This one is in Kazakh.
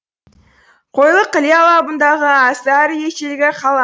қойлық іле алабындағы аса ірі ежелгі қала